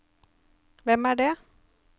hvem er det